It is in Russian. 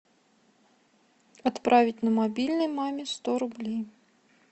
отправить на мобильный маме сто рублей